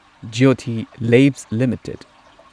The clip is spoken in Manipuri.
Jyothy labs limited